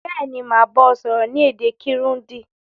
Béèni, màá ba ọ sọ́rọ́ ni èdè Kirundi